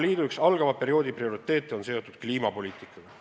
Üks algava perioodi prioriteete Euroopa Liidus on seotud kliimapoliitikaga.